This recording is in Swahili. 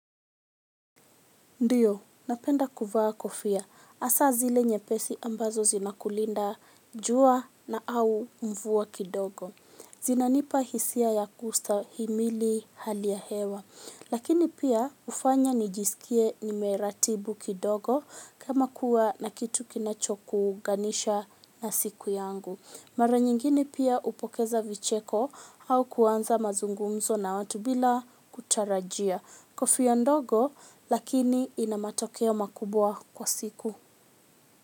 Ndiyo, napenda kuvaa kofia. Hasaa zile nyepesi ambazo zinakulinda jua na au mvua kidogo. Zinanipa hisia za kustahimili hali ya hewa. Lakini pia hufanya nijisikie nimeratibu kidogo kama kuwa na kitu kinachokuunganisha na siku yangu. Mara nyingini pia hupokeza vicheko au kuanza mazungumzo na watu bila kutarajia. Kofia ndogo lakini ina matokeo makubwa kwa siku.